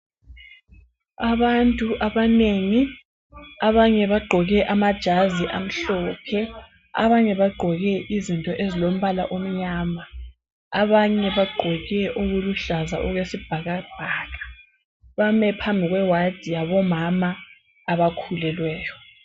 Abantu abanengi. Abanye bagqoke amajazi amhlophe. Abanye bagqoke izinto ezilombala omnyama. Abanye bagqoke okuluhlaza okwesibhakabhaka, bame phambi kwe ward yabomama abakhulelweyo.